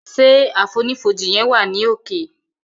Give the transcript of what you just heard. Ṣe àfonífojì yen wa ni òkè.